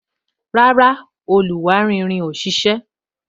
Rárá, irin oluwari ò ṣise